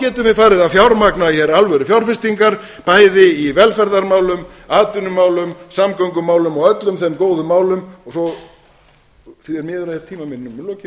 getum við farið að fjármagna alvörufjárfestingar bæði í velferðarmálum atvinnumálum samgöngumálum og öllum þeim góðu málum því miður er